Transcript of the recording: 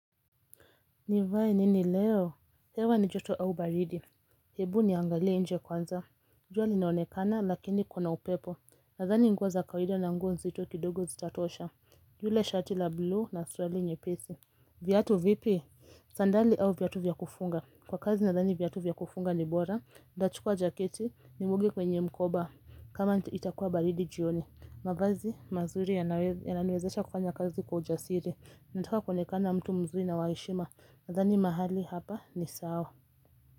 Nivae nini leo, hewa ni joto au baridi, hebu niangalie nje kwanza, jua linaonekana lakini kuna upepo, nadhani nguo za kawaida na nguo nzito kidogo zitatosha, yule shati la blue na suruali nyepesi Viatu vipi, sandali au viatu vya kufunga, kwa kazi nadhani viatu vya kufunga ni bora, ntachukua jaketi ni weke kwenye mkoba, kama itakuwa baridi jioni mavazi mazuri yananiwezesha kufanya kazi kwa ujasiri Nataka kuonekana mtu mzuri na wa heshima nadhani mahali hapa ni sawa.